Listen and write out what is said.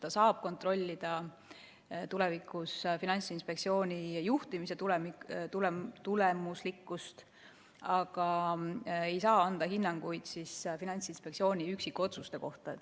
Ta saab tulevikus kontrollida Finantsinspektsiooni juhtimise tulemuslikkust, aga ei saa anda hinnanguid Finantsinspektsiooni üksikotsuste kohta.